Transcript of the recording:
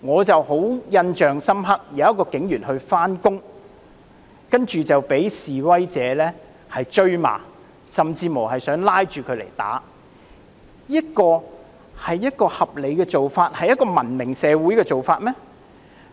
令我印象很深刻的是有一位警員上班，但卻被示威者追罵，甚至想拉着他來打，這是合理的做法、一個文明社會的做法嗎？